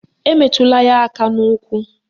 Emetụla ya aka n'ukwu